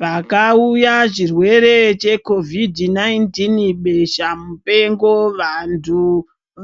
Pakauya chirwere chekovidhi 19 besha mupengo vanhu